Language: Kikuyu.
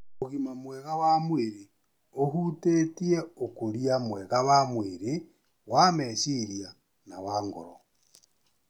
Ũgima mwega wa mwĩrĩ ũhutĩtie ũkũria mwega wa mwĩrĩ, wa meciria, na wa ngoro